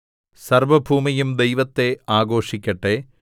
സർവ്വഭൂമിയും ദൈവത്തെ ആഘോഷിക്കട്ടെ